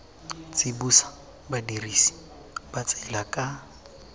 tsibosa badirisi ba tsela ka